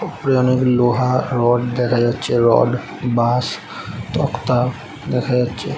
উপরে অনেক লোহা রড দেখা যাচ্ছে রড বাঁস তক্তা দেখা যাচ্ছে।